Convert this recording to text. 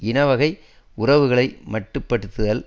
இனவகை உறவுகளை மட்டுப்படுத்துதல்